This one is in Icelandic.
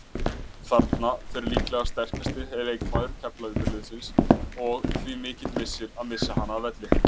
Þarna fer líklega sterkasti leikmaður Keflavíkurliðsins og því mikill missir að missa hana af velli.